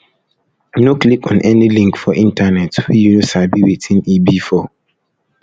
no click on any link for internet wey you no sabi wetin e be for